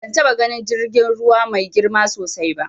Ban taɓa ganin jirgin ruwa mai girma sosai ba.